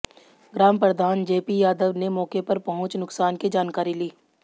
ग्राम प्रधान जेपी यादव ने मौके पर पहुंच नुकसान की जानकारी ली